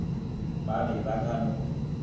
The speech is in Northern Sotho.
ba be ba ka no